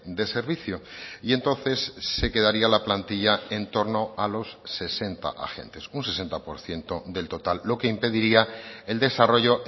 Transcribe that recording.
de servicio y entonces se quedaría la plantilla entorno a los sesenta agentes un sesenta por ciento del total lo que impediría el desarrollo